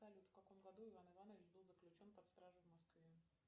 салют в каком году иван иванович был заключен под стражу в москве